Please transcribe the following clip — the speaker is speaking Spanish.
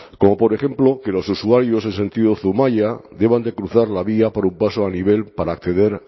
como por ejemplo que los usuarios en sentido zumaia deban de cruzar la vía por un paso a nivel para acceder